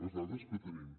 les dades que tenim